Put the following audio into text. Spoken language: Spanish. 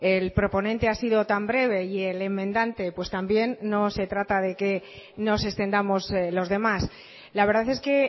el proponente ha sido tan breve y el enmendante pues también no se trata de que nos extendamos los demás la verdad es que